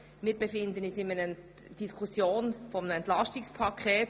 Wir befinden uns in einer Diskussion eines Entlastungspakets.